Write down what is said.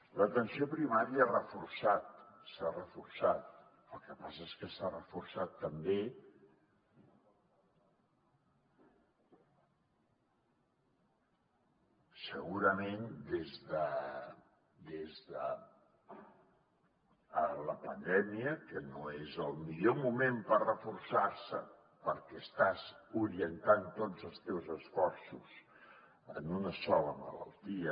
l’atenció primària s’ha reforçat el que passa és que s’ha reforçat també segurament des de la pandèmia que no és el millor moment per reforçar se perquè estàs orientant tots els teus esforços a una sola malaltia